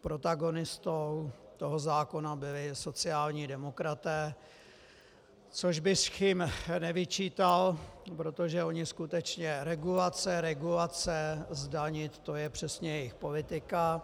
protagonistou toho zákona byli sociální demokraté, což bych jim nevyčítal, protože oni skutečně regulace, regulace, zdanit, to je přesně jejich politika.